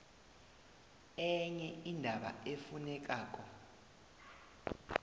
enye indaba efunekako